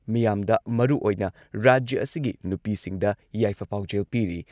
ꯃꯤꯌꯥꯝꯗ ꯃꯔꯨꯑꯣꯏꯅ ꯔꯥꯖ꯭ꯌ ꯑꯁꯤꯒꯤ ꯅꯨꯄꯤꯁꯤꯡꯗ ꯌꯥꯏꯐ ꯄꯥꯎꯖꯦꯜ ꯄꯤꯔꯤ ꯫